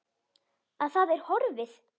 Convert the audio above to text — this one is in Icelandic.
Að það er horfið!